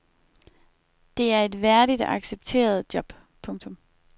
Det er et værdigt og accepteret job. punktum